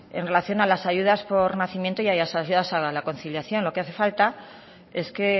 en relación a las ayudas por nacimiento y asociadas a la conciliación lo que hace falta es que